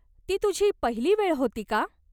ती तुझी पहिली वेळ होती का?